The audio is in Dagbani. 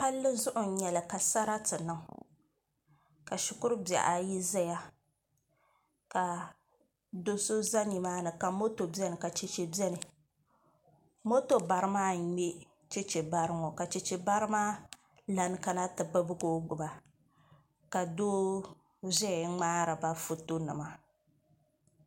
palli zuɣu n-nyɛ li ka sarati niŋ ka shikuru bihi ayi zaya ka do' so za nimaani ka moto beni ka cheche beni moto bara maa n-ŋme cheche bara ŋɔ ka cheche bara maa lana kana nti bibigi o gbuba ka doo zaya ŋmaari ba fotonima.